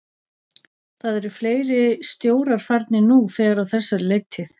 Það eru fleiri stjórar farnir nú þegar á þessari leiktíð.